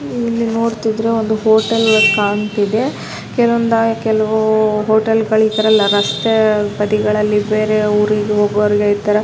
ಇಲ್ಲಿ ನೋಡ್ತಿದ್ರೆ ಒಂದು ಹೋಟೆಲ್ ಕಾಣ್ತಿದೆ ಕೆಲವು ಹೋಟೆಲ ಗಳೆಲ್ಲ ಇತರ ರಸ್ತೆ ಬದಿಗಳಲ್ಲಿ ಬೇರೆ ಊರಿಗೆ ಹೋಗುವವರಿಗೆ ಇತರ --